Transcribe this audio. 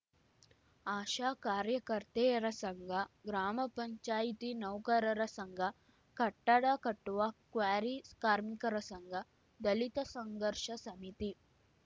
ಆಶಾ ಕಾರ್ಯಕರ್ತೆಯರ ಸಂಘ ಗ್ರಾಮಪಂಚಾಯ್ತಿ ನೌಕರರ ಸಂಘ ಕಟ್ಟಡ ಕಟ್ಟುವ ಕ್ವಾರಿ ಕಾರ್ಮಿಕರ ಸಂಘ ದಲಿತ ಸಂಘರ್ಷ ಸಮಿತಿ